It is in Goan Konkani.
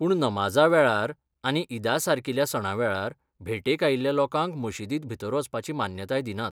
पूण नमाजा वेळार आनी ईदासारकील्या सणां वेळार, भेटेक आयिल्ल्या लोकांक मशीदींत भितर वचपाची मान्यताय दिनात.